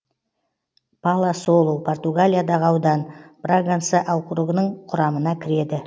паласолу португалиядағы аудан браганса округінің құрамына кіреді